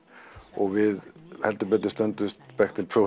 og við heldur betur stöndumst